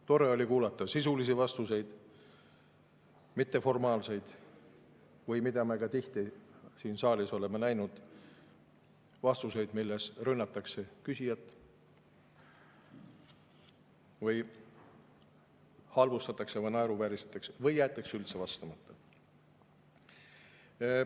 Tore oli kuulata sisulisi vastuseid, mitte formaalseid või sellised vastuseid, mida me ka tihti siin saalis oleme kuulnud, kui rünnatakse küsijat, halvustatakse, naeruvääristatakse teda või jäetakse üldse vastamata.